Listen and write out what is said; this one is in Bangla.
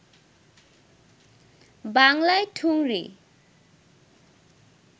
বাংলায় ঠুংরি